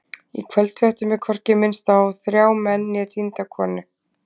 Í kvöldfréttum er hvorki minnst á þrjá menn né týnda konu.